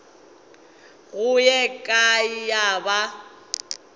go ye kae ya ba